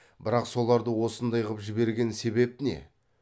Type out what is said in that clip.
бірақ соларды осындай қып жіберген себеп не